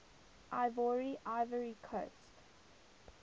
ivoire ivory coast